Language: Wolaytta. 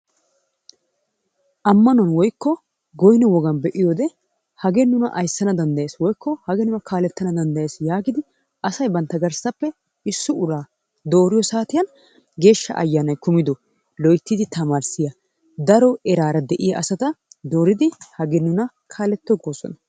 Amano woikko goyno wogaan be'iyoode hagee nuna ayssana dandayees woikko hagee nuna kaalettana dandayees yaagid asay bantta garssappe issi uraa dooriyoo saatiyan geeshsha ayanay kumido loyttidi tamarissiya daro eraara de'iya asata dooridi hagee nuna kaletto goosonna.